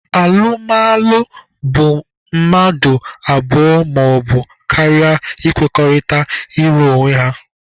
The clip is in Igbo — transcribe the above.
Alụmalụ bụ mmadụ abụọ maọbụ karịa ịkwekọrịta ịlụ onwe ha.